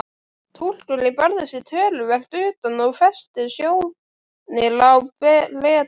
Túlkurinn barði sig töluvert utan og hvessti sjónir á Bretann.